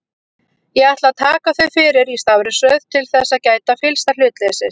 Ég ætla að taka þau fyrir í stafrófsröð til þess að gæta fyllsta hlutleysis.